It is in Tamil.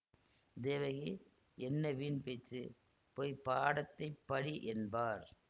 தேவகி என்ன வீண் பேச்சு போய் பாடத்தைப் படி என்பார்